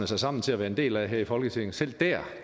sig sammen til at være en del af her i folketinget selv dér